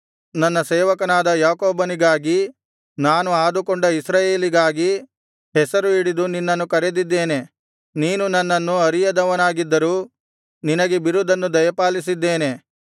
ನನ್ನ ಸೇವಕನಾದ ಯಾಕೋಬನಿಗಾಗಿ ನಾನು ಆದುಕೊಂಡ ಇಸ್ರಾಯೇಲಿಗಾಗಿ ಹೆಸರು ಹಿಡಿದು ನಿನ್ನನ್ನು ಕರೆದಿದ್ದೇನೆ ನೀನು ನನ್ನನ್ನು ಅರಿಯದವನಾಗಿದ್ದರೂ ನಿನಗೆ ಬಿರುದನ್ನು ದಯಪಾಲಿಸಿದ್ದೇನೆ